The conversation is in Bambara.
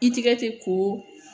I tigɛ te ko